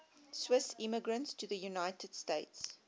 swiss immigrants to the united states